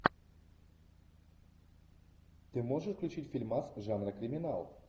ты можешь включить фильмас жанра криминал